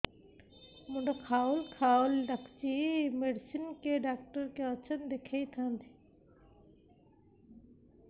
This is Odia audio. ମୁଣ୍ଡ ଖାଉଲ୍ ଖାଉଲ୍ ଡାକୁଚି ମେଡିସିନ ଡାକ୍ତର କିଏ ଅଛନ୍ ଦେଖେଇ ଥାନ୍ତି